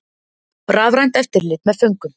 Rafrænt eftirlit með föngum